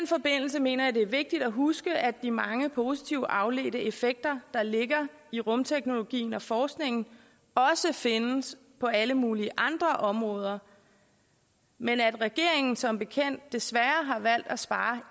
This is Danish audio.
mener jeg det er vigtigt at huske at de mange positive afledte effekter der ligger i rumteknologien og forskningen også findes på alle mulige andre områder men at regeringen som bekendt desværre har valgt at spare